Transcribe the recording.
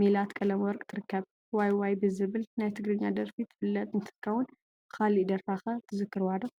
ሜላት ቀለመወርቅ ትርከብ፡፡ ዋይ..ዋይ ብዝብል ናይ ትግርኛ ደርፊ ትፍለጥ እንትትከውን ብኻሊእ ደርፋ ኸ ትዝክርዋ ዶ?